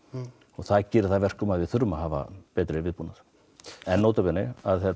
það gerir það að verkum að við þurfum að hafa betri viðbúnað en nota bene